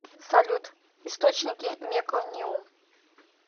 салют источники мекониум